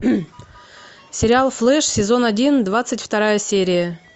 сериал флэш сезон один двадцать вторая серия